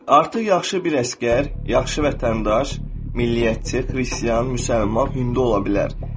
Artıq yaxşı bir əsgər, yaxşı vətəndaş, milliyyətçi, xristian, müsəlman, hindli ola bilər.